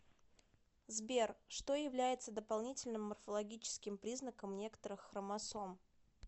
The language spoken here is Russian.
сбер что является дополнительным морфологическим признаком некоторых хромосом